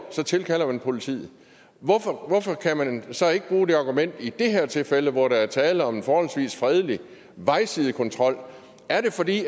så tilkalder man politiet hvorfor hvorfor kan man så ikke bruge det argument i det her tilfælde hvor der er tale om en forholdsvis fredelig vejsidekontrol er det fordi